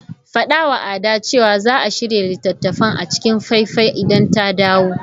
Faɗawa Ada cewa za ta shirya littattafan a cikin faifai idan ta dawo.